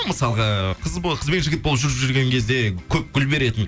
мысалғы қыз қыз бен жігіт болып жүріп жүрген кезде көп гүл беретін